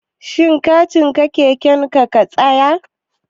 Shin kacan keken ka ya katse?